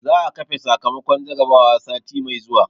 za a kafe sakamakon jarrabawa sati mai zuwa